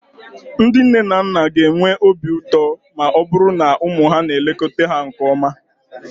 Ndị nne na nna okenye ga-enwe obi ụtọ ma ọ bụrụ na ụmụ ha na-elekọta ha nke ọma.